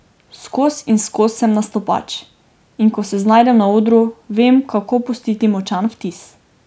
Skoz in skoz sem nastopač, in ko se znajdem na odru, vem, kako pustiti močan vtis.